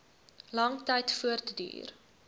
lang tyd voortduur